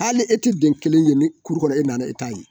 Hali e tɛ den kelen ye ni kuru kɔnɔ ya ,e nana e t'a ye.